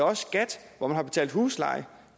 også skat hvor man har betalt husleje